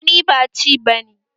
Gani ba ci bane